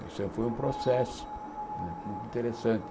Isso é foi um processo né muito interessante.